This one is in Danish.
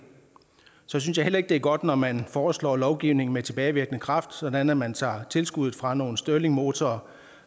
så synes jeg heller ikke det er godt når man foreslår lovgivning med tilbagevirkende kraft sådan at man tager tilskuddet fra nogle stirlingmotorer